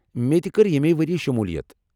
مےٚ تہِ کٔر ییٚمے ؤرِیہِ شُموٗلیت ۔